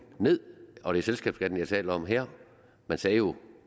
ned og det er selskabsskatten jeg taler om her man sagde jo